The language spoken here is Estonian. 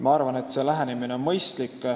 Ma arvan, et see lähenemine on mõistlik.